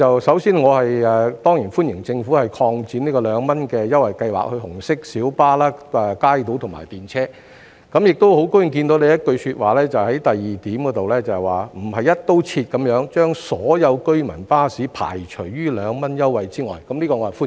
首先，我當然歡迎政府擴展二元優惠計劃至紅色小巴、街渡和電車，亦很高興聽到局長在第二部分提到"不是'一刀切'把所有居民巴士排除於二元優惠計劃之外"，我對此表示歡迎。